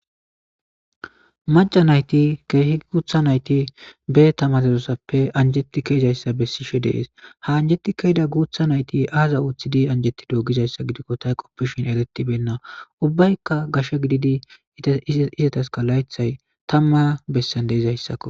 Macca nayti keehi guuththa nayti ba tamaaresozape anjjetidi ke7izayssa bessishe dees ha anjjeti ke7ida nayti aazi anjettido gizayssa gidiko ta qopishin eretibeena ubbaykka gashe gididi laythay izetasi tamma bolla gidizaysako.